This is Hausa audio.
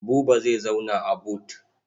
Buba zai zauna a but.